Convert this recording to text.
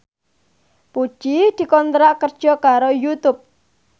Puji dikontrak kerja karo Youtube